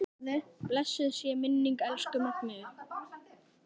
Blessuð sé minning elsku Magneu.